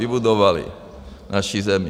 Vybudovali naši zemi.